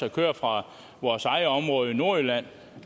at køre fra vores eget område i nordjylland